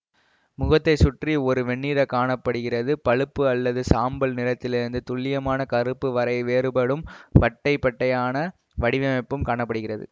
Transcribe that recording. முகத்தைச் சுற்றி ஒரு வெண்ணிற காண படுகிறது பழுப்பு அல்லது சாம்பல் நிறத்திலிருந்து துல்லியமான கருப்பு வரை வேறுபடும் பட்டை பட்டையான வடிவமைப்பும் காண படுகிறது